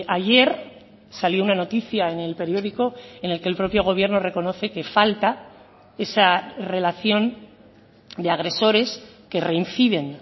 ayer salió una noticia en el periódico en el que el propio gobierno reconoce que falta esa relación de agresores que reinciden